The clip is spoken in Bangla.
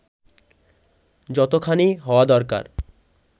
যতোখানি হওয়া দরকার